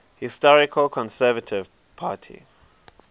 historical conservative party